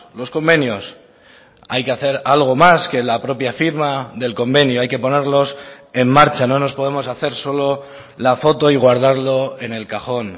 los convenios hay que hacer algo más que la propia firma del convenio hay que ponerlos en marcha no nos podemos hacer solo la foto y guardarlo en el cajón